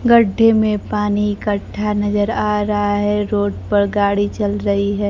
गड्ढे में पानी इकट्ठा नजर आ रहा है रोड पर गाड़ी चल रही है।